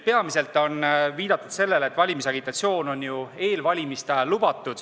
Peamiselt on viidatud sellele, et valimisagitatsioon on ju eelvalimiste ajal lubatud.